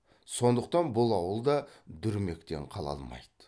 сондықтан бұл ауыл да дүрмектен қала алмайды